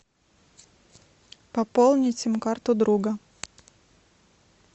пополнить сим карту друга